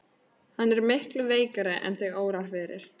Hann er miklu veikari en þig órar fyrir.